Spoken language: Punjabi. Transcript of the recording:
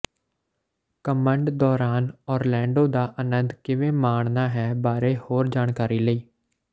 ਘਮੰਡ ਦੌਰਾਨ ਓਰਲੈਂਡੋ ਦਾ ਆਨੰਦ ਕਿਵੇਂ ਮਾਣਨਾ ਹੈ ਬਾਰੇ ਹੋਰ ਜਾਣਕਾਰੀ ਲਈ